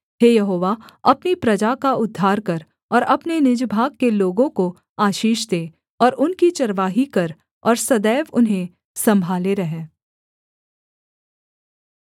हे यहोवा अपनी प्रजा का उद्धार कर और अपने निज भाग के लोगों को आशीष दे और उनकी चरवाही कर और सदैव उन्हें सम्भाले रह